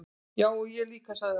"""Já, ég líka sagði Örn."""